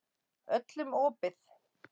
Öllum opið.